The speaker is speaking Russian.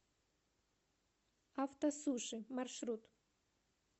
автосуши маршрут